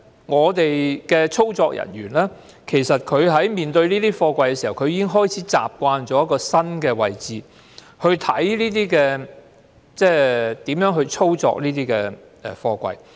我們的操作人員處理這些貨櫃時，已經開始習慣因應新的位置，看看如何操作這些貨櫃。